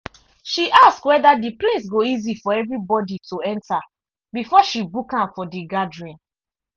she ask whether the place go easy for everybody to enter before she book am for the gathering.